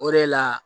O de la